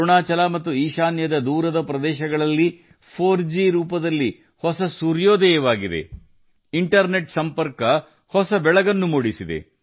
ಅರುಣಾಚಲ ಮತ್ತು ಈಶಾನ್ಯದ ದೂರದ ಪ್ರದೇಶಗಳಲ್ಲಿ 4ಜಿ ರೂಪದಲ್ಲಿ ಹೊಸ ಸೂರ್ಯೋದಯ ಕಂಡುಬಂದಿದೆ ಇಂಟರ್ನೆಟ್ ಸಂಪರ್ಕವು ಹೊಸ ಉದಯವನ್ನು ತಂದಿದೆ